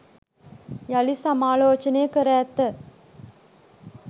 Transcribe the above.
යළි සමාලෝචනය කර ඇත